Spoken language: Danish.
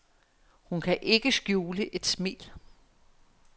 Hun kan ikke skjule et smil.